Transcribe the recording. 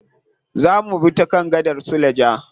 Za mubi ta kan gadar suleja.